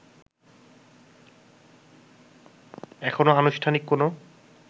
এখনও আনুষ্ঠানিক কোন